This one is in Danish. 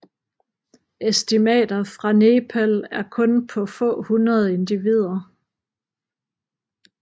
Estimater for Nepal er kun på få hundrede individer